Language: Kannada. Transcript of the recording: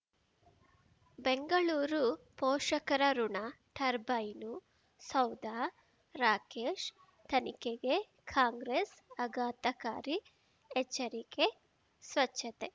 ಬೆಂಗಳೂರು ಪೋಷಕರಋಣ ಟರ್ಬೈನು ಸೌಧ ರಾಕೇಶ್ ತನಿಖೆಗೆ ಕಾಂಗ್ರೆಸ್ ಆಘಾತಕಾರಿ ಎಚ್ಚರಿಕೆ ಸ್ವಚ್ಛತೆ